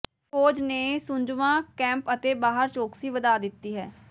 ਫ਼ੌਜ ਨੇ ਸੁੰਜਵਾਂ ਕੈਂਪ ਦੇ ਬਾਹਰ ਚੌਕਸੀ ਵਧਾ ਦਿੱਤੀ ਹੈ